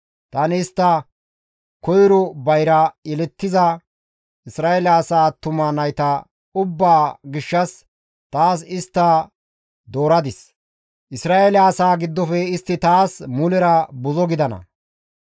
Tani istta koyro bayra yelettiza Isra7eele asaa attuma nayta ubbaa gishshas taas dooradis; Isra7eele asaa giddofe istti taas mulera buzo gidana.